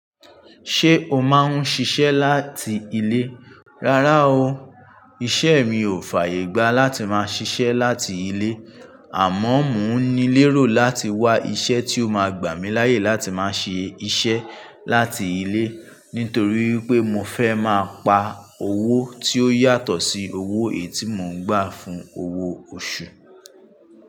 Ṣé o máa ń ṣiṣẹ́ láti ilé? Rárá o, iṣẹ́ mi ò fàyè gbá láti máa ṣiṣẹ́ láti ilé. Àma mo ní lérò láti wá iṣẹ́ tí ó máa gbà mí láyé láti máa ṣe iṣẹ́ láti ilé. Nítorí pé mo fẹ́ máa pa owó tí ó yàtọ̀ sí owó ètì mó ń gbà fún owó oṣù.